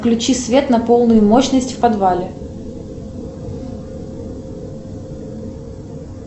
включи свет на полную мощность в подвале